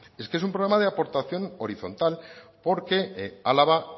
es que es un problema de aportación horizontal porque álava